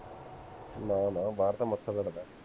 ਨਾ ਨਾ ਬਾਹਰ ਤਾਂ ਮੱਛਰ ਲੜਦਾ